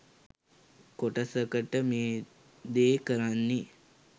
කොටසකට මේ දේ කරන්නෙ